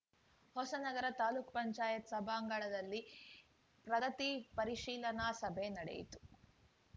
ಹೊಸನಗರ ತಾಲೂಕ್ ಪಂಚಾಯತ್ ಸಭಾಂಗಣದಲ್ಲಿ ಪ್ರಗತಿ ಪರಿಶೀಲನಾ ಸಭೆ ನಡೆಯಿತು